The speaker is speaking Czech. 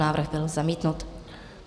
Návrh byl zamítnut.